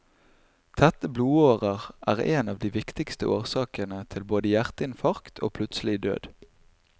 Tette blodårer er en av de viktigste årsakene til både hjerteinfarkt og plutselig død.